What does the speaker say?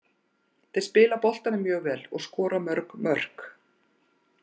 Þeir spila boltanum mjög vel og skora mörg mörk.